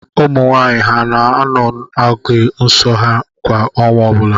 Ụmụnwaanyị ha na-anọ n’oge nso ha kwa ọnwa ọbụla?